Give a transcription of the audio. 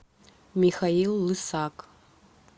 михаил лысак